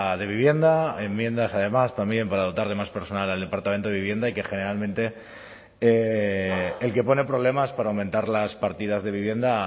de vivienda enmiendas además también para dotar de más personal al departamento de vivienda y que generalmente el que pone problemas para aumentar las partidas de vivienda